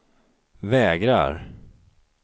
vägrar